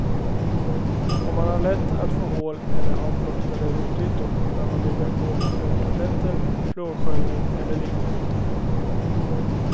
Om man har lätt att få hål eller har blottade rotytor bör man bygga på med fluortabletter, fluorsköljning eller liknande.